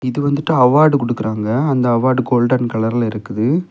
இது வந்துட்டு அவார்ட் குடுக்குறாங்க அந்த அவார்ட் கோல்டன் கலர்ல இருக்குது.